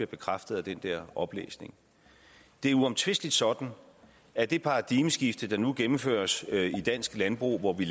bekræftet af den der oplæsning det er uomtvisteligt sådan at det paradigmeskifte der nu gennemføres i dansk landbrug hvor vi